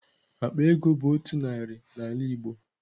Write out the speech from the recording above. Akpa ego bu otu nari na ala igbo.